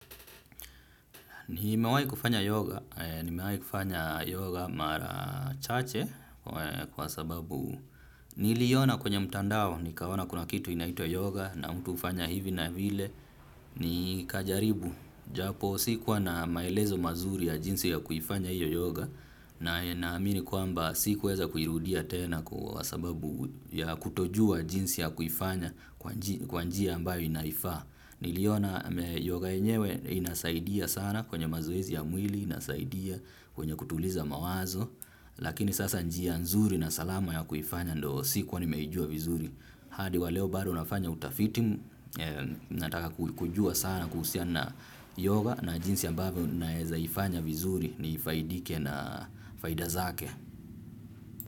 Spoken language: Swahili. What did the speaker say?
Nimewahi kufanya yoga, nimewahi kufanya yoga mara chache kwa sababu niliiona kwenye mtandao nikaona kuna kitu inaitwa yoga na mtu hufanya hivi na vile nikajaribu. Japo sikuwa na maelezo mazuri ya jinsi ya kufanya hiyo yoga na naamini kwamba si kuweza kuirudia tena kwa sababu ya kutojua jinsi ya kuifanya kwa njia ambayo inaifaa. Niliona yoga yenyewe inasaidia sana kwenye mazoezi ya mwili inasaidia kwenye kutuliza mawazo. Lakini sasa njia nzuri na salama ya kuifanya ndo sikuwa nimeijua vizuri. Hadi wa leo bado nafanya utafiti nataka kujua sana kuhusiana na yoga na jinsi ambavyo nawezaifanya vizuri nifaidike na faida zake.